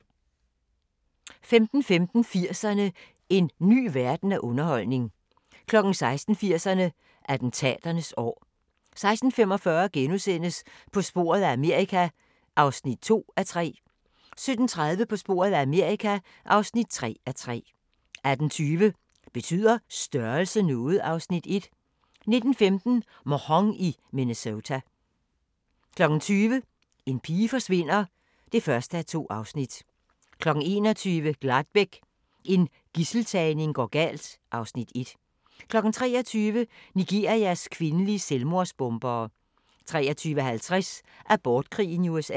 15:15: 80'erne: En ny verden af underholdning 16:00: 80'erne: Attentaternes år 16:45: På sporet af Amerika (2:3)* 17:30: På sporet af Amerika (3:3) 18:20: Betyder størrelse noget? (Afs. 1) 19:15: Mhong i Minnesota 20:00: En pige forsvinder (1:2) 21:00: Gladbeck – en gidseltagning går galt (Afs. 1) 23:00: Nigerias kvindelige selvmordsbombere 23:50: Abortkrigen i USA